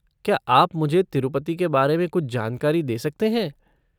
क्या आप मुझे तिरूपति के बारे में कुछ जानकारी दे सकते हैं?